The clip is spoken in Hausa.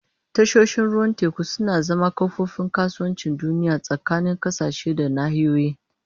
Tashoshin ruwan teku suna zama kofofin kasuwancin duniya tsakanin ƙasashe da nahiyoyi.